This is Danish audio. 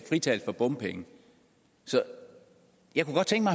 fritagelse for bompenge så jeg kunne godt tænke